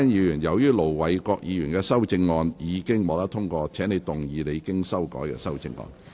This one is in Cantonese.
容海恩議員，由於盧偉國議員的修正案已獲得通過，請動議你經修改的修正案。